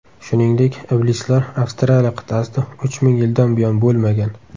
Shuningdek, iblislar Avstraliya qit’asida uch ming yildan buyon bo‘lmagan.